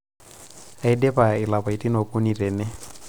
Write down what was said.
aidipa ilapaitin okuni tene